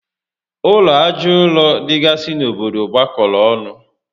Ụlọ aja ụrọ dịgasị n'obodo gbakọrọ ọnụ